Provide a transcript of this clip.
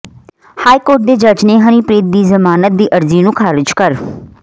high court ਦੇ ਜੱਜ ਨੇ ਹਨੀਪ੍ਰੀਤ ਦੀ ਜਮਾਨਤ ਦੀ ਅਰਜੀ ਨੂੰ ਖਾਰਜ ਕਰ